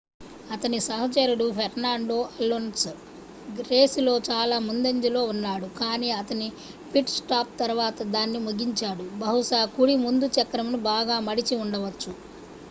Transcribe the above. అతని సహచరుడు Fernando Alonso రేసులో చాలా ముందంజలో ఉన్నాడు కాని అతని పిట్-స్టాప్ తర్వాత దాన్ని ముగించాడు బహుశా కుడి ముందు చక్రమును బాగా మడిచి ఉండవచ్చు